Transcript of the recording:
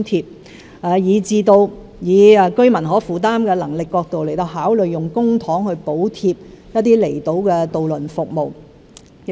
此外，考慮到居民的可負擔能力，我們將會動用公帑補貼一些離島渡輪服務。